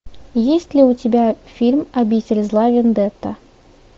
есть ли у тебя фильм обитель зла вендетта